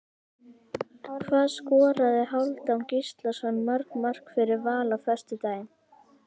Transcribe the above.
Hvað skoraði Hálfdán Gíslason mörg mörk fyrir Val á föstudaginn?